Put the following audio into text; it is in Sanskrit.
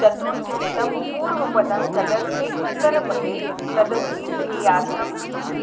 चतुर्थ्यन्तं पूर्वपदं तदर्थे उत्तरपदे तदभिधेयार्थं